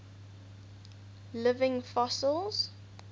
living fossils